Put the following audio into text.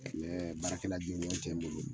Ɛɛ baarakɛla jɔnjɔn tɛ n bolo.